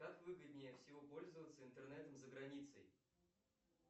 как выгоднее всего пользоваться интернетом за границей